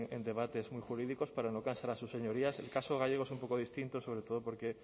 en debates muy jurídicos para no cansar a sus señorías el caso gallego es un poco distinto sobre todo porque